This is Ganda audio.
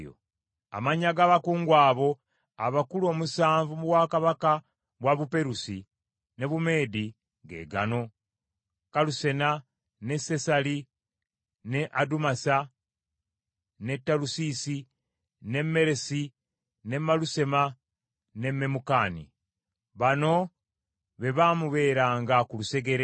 Amannya ga bakungu abo abakulu omusanvu mu bwakabaka bwe Buperusi ne Bumeedi ge gano: Kalusena, ne Sesali, ne Adumasa, ne Talusiisi, ne Meresi, ne Malusema ne Memukani. Bano be baamubeeranga ku lusegere.